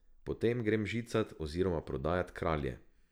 Potem grem žicat oziroma prodajat Kralje.